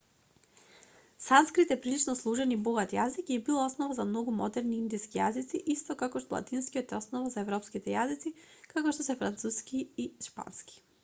санскрит е прилично сложен и богат јазик и бил основа за многу модерни индиски јазици исто како што латинскиот е основа за европските јазици како што се француски и шпански